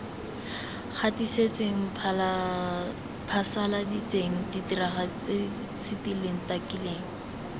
gatisitseng phasaladitseng diragaditseng setileng takileng